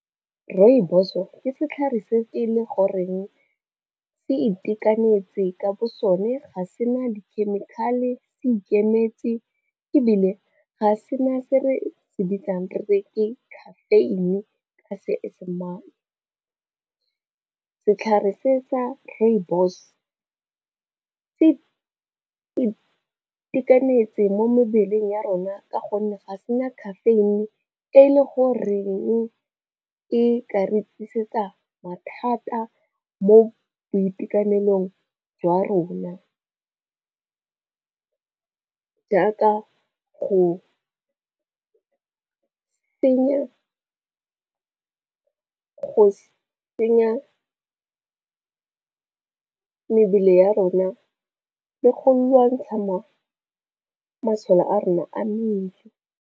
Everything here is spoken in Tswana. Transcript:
Rooibos-o ke setlhare se e le goreng se itekanetse ka bo sone, ga se na dikhemikhale se ikemetse ebile ga se na se re se bitsang re re ke caffeine ka seesemane. Setlhare se sa rooibos se itekanetse mo mebeleng ya rona ka gonne ga sena caffeine e le goreng e ka re tlisetsa mathata mo boitekanelong jwa rona jaaka go tsenya mebele ya rona le go lwantsha masole a rona a mmele.